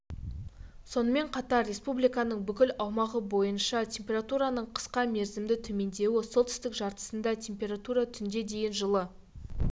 сонымен қатар республиканың бүкіл аумағы бойынша температураның қысқа мерзімді төмендеуі солтүстік жартысында температура түнде дейін жылы